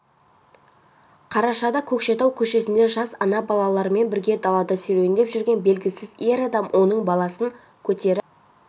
қарашада көкшетау көшесінде жас ана балаларымен бірге далада серуендеп жүрген белгісіз ер адам оның баласын көтеріп